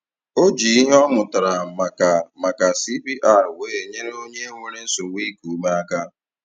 O ji ihe ọ mụtara maka maka CPR wee nyere onye nwere nsogbu iku ume aka